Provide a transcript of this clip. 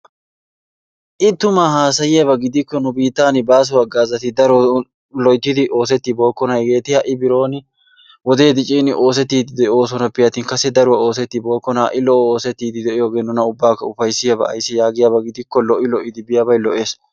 I tumma haasayiyabba gidikko nu biittan baasso haggaazati daro loyttidi oosetibokonna. Hageeti ha'i bironi wode diccin oosetidi doosonappe attin kasse daruwaa oosetibokkona ha'i oosetidi de'yogge nuna ubakka ufayssiyaaba. Ayssi giyaba gidikko lo'i lo'i biyaabay lo'es.